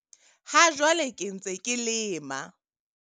Ha jwale ke ntse ke lema.